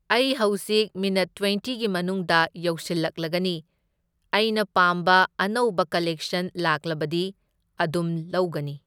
ꯑꯩ ꯍꯧꯖꯤꯛ ꯃꯤꯅꯠ ꯇ꯭ꯋꯦꯟꯇꯤꯒꯤ ꯃꯅꯨꯡꯗ ꯌꯧꯁꯤꯜꯂꯛꯂꯒꯅꯤ, ꯑꯩꯅ ꯄꯥꯝꯕꯑꯅꯧꯕ ꯀꯂꯦꯛꯁꯟ ꯂꯥꯛꯂꯕꯗꯤ ꯑꯗꯨꯝ ꯂꯧꯒꯅꯤ꯫